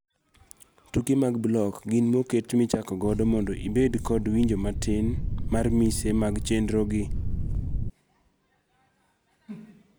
Tuke mag block gin moket michako godo mondo ibend kod winjo matin mar mise mag chenrogi.